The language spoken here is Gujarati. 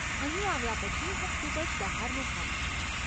અહીં આવ્યા પછી હું ખૂબ જ બહારનું ખાતી હતી.